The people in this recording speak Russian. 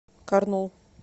карнул